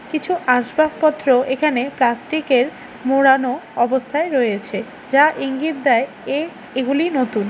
কিছু আসবাবপত্র এখানে প্লাস্টিক -এর মোড়ানো অবস্থায় রয়েছে যা ইঙ্গিত দেয় এ এগুলি নতুন।